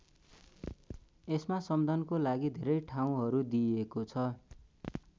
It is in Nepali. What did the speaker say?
यसमा सम्दनको लागि धेरै ठाउँहरू दिईएको छ।